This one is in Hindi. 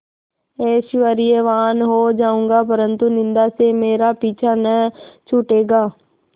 ऐश्वर्यवान् हो जाऊँगा परन्तु निन्दा से मेरा पीछा न छूटेगा